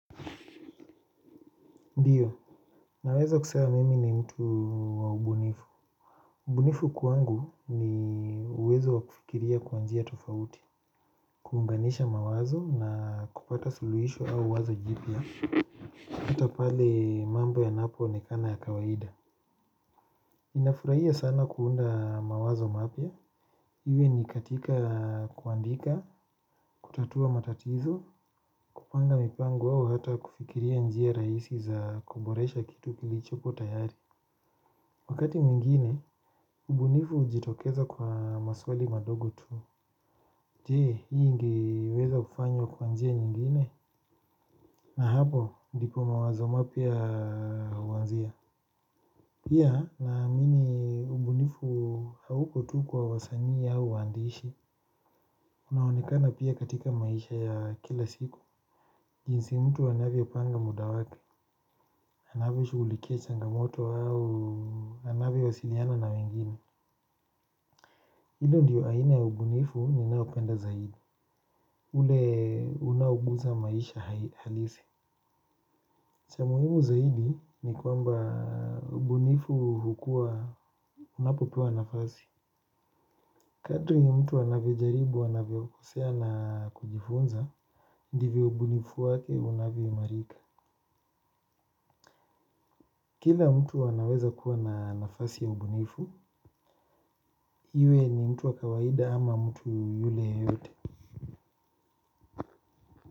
Ndiyo naweza kusema mimi ni mtu wa ubunifu. Ubunifu kwangu ni uwezo wa kufikiria kwa njia tofauti, kuunganisha mawazo na kupata suluhisho au wazo jipya, hata pale mambo yanapoonekana ya kawaida. Ninafurahia sana kuunda mawazo mapya. Iwe ni katika kuandika, kutatua matatizo, kupanga mipango au hata kufikiria njia rahisi za kuboresha kitu kilichopo tayari. Wakati mwingine, ubunifu ujitokeza kwa maswali madogo tu. Je, hii ingeweza kufanywa kwa njia nyingine. Na hapo, ndipo mawazo mapya uanzia. Pia naamini ubunifu hauko tu kwa wasanii au waandishi. Unaonekana pia katika maisha ya kila siku. Jinsi mtu anavyopanga muda wake. Anavyoshughulikia changamoto au anavyowasiliana na wengine. Hilo ndiyo aina ya ubunifu ninaopenda zaidi. Ule unaouguza maisha halisi. Cha muhimu zaidi ni kwamba ubunifu hukua unapopewa nafasi. Kadri mtu anavyojaribu anavyokosea na kujifunza, ndivyo ubunifu wake unavyoimarika. Kila mtu anaweza kuwa na nafasi ya ubunifu iwe ni mtu wa kawaida ama mtu yule yeyote.